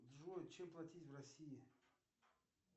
джой чем платить в россии